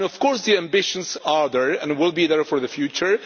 And of course the ambitions are there and will be there for the future.